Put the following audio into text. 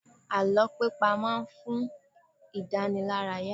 Àlọ́ pípa má ń fún idanilaraya